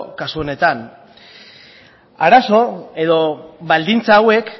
kasu honetan arazo edo baldintza hauek